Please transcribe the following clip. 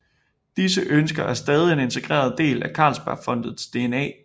Disse ønsker er stadig en integreret del af Carlsbergfondets DNA